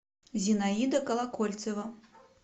зинаида колокольцева